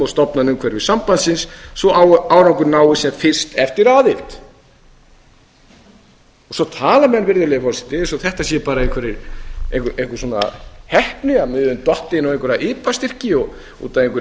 stofnunum umhverfis sambandsins svo að árangur náist sem fyrst eftir árið svo tala menn bara eins og þetta séu einhver heppni að við höfum dottið inn á einhverja ipa styrki út af einhverri